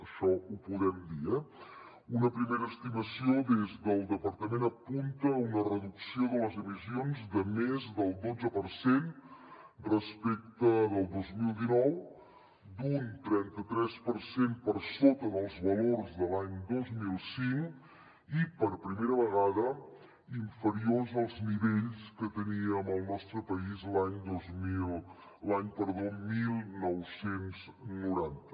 això ho podem dir eh una primera estimació des del departament apunta una reducció de les emissions de més del dotze per cent respecte del dos mil dinou d’un trenta tres per cent per sota dels valors de l’any dos mil cinc i per primera vegada inferiors als nivells que teníem al nostre país l’any dinou noranta